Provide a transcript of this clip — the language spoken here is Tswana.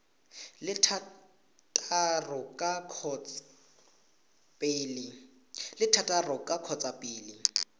le thataro ka kgotsa pele